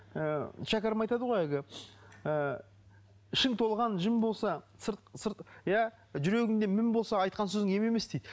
ы шәкәрім айтады ғой әлгі ыыы ішің толған жын болса иә жүрегіңде мін болса айтқан сөзің ем емес дейді